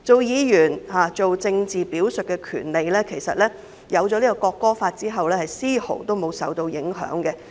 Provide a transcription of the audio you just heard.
議員政治表述的權利在《條例草案》通過後其實絲毫無損。